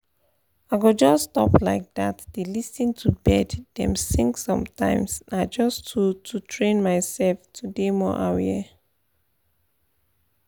i go just stop like dat dey lis ten to bird dem sing sometimes na just to to train myself to dey more aware